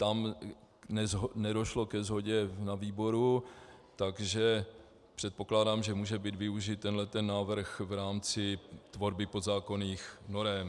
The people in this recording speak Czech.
Tam nedošlo ke shodě na výboru, takže předpokládám, že může být využit tenhle návrh v rámci tvorby podzákonných norem.